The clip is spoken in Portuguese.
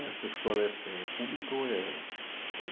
Essa escola é pública ou é